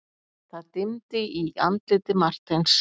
Það dimmdi í andliti Marteins.